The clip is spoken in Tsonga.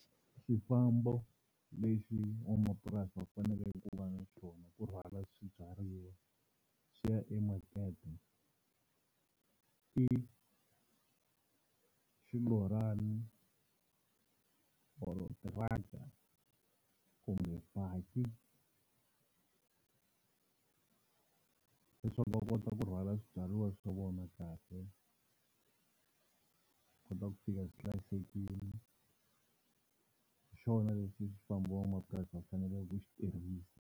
Xifambo lexi n'wamamapurasi a faneleke ku va na xona ku rhwala swibyariwa swi ya emakete i xilorana or tiraka kumbe baki, leswaku va kota ku rhwala swibyariwa swa vona kahle swi kota ku fika swi hlayisekile hi xona lexi xifambo van'wamapurasi va faneleke ku xi tirhisa.